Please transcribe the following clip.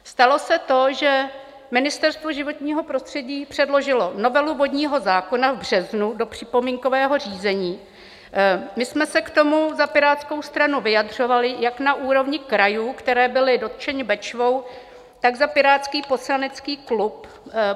Stalo se to, že Ministerstvo životního prostředí předložilo novelu vodního zákona v březnu do připomínkového řízení, my jsme se k tomu za Pirátskou stranu vyjadřovali jak na úrovni krajů, které byly dotčeny Bečvou, tak za pirátský poslanecký klub.